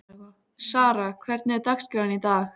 Sara, hvernig er dagskráin í dag?